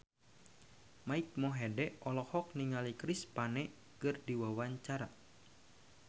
Mike Mohede olohok ningali Chris Pane keur diwawancara